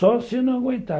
Só se não aguentar.